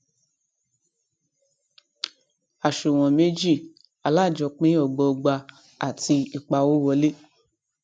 àṣùwòn méjì alájọpín ọgbọọgba àti ìpawówolé